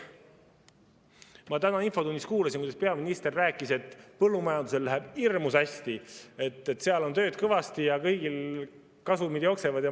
Ma täna infotunnis kuulasin, kuidas peaminister rääkis, et põllumajandusel läheb hirmus hästi, et seal on tööd kõvasti ja kõigil kasumid jooksevad.